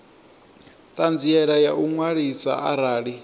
ṱhanziela ya u ṅwaliswa arali